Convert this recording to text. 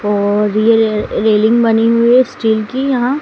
और ये रेलिंग बनी हुई स्टील की यहां--